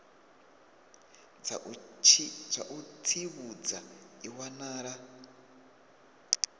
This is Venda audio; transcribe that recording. dza u tsivhudza i wanala